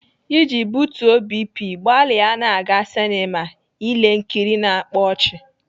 Iji butuo BP, gbalịa na-aga sinema ele nkiri na-akpa ọchị.